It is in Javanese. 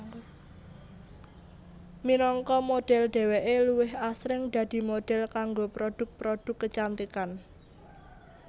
Minangka modhel dheweké luwih asring dadi modhel kanggo produk produk kecantikan